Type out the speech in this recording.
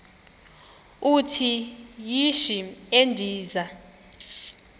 uthi yishi endiza